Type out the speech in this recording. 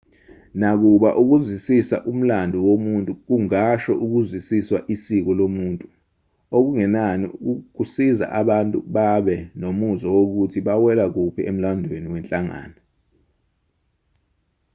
nakuba ukuzwisisa umlando womuntu kungasho ukuzwisisa isiko lomuntu okungenani kusiza abantu babe nomuzwa wokuthi bawela kuphi emlandweni wenhlangano